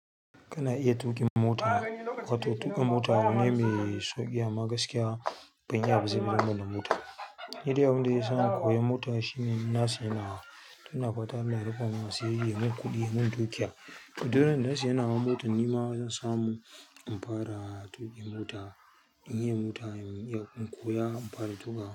Kana iya tuƙin mota, wato tuƙin mota abu ne mai sauƙi amma gaskiya, ban iya ba saboda banda mota. Ni dai abin da zai sa na koya mota shine na siya nawa, to ina fata Allah ya rufamun asiri. Ya mun kuɗi. Ya mun dukiya. Duk randa na sayi nawa mota nima zan samu in fara tuƙin mota, in iya mota, in koya in fara tuƙa.